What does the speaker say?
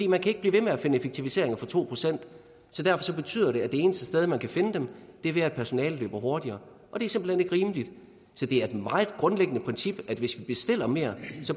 man kan ikke blive ved med at finde effektiviseringer for to procent derfor betyder det at det eneste sted man kan finde dem er ved at personalet løber hurtigere og det er simpelt hen ikke rimeligt så det er et meget grundlæggende princip at hvis vi bestiller mere